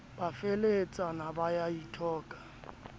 a feheletsana ba a ithoka